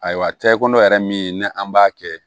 Ayiwa tɛkodɔn yɛrɛ min ni an b'a kɛ